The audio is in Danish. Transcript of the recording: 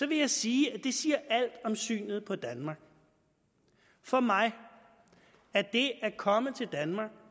vil jeg sige at det siger alt om synet på danmark for mig er det at komme til danmark